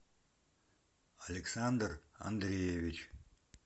александр андреевич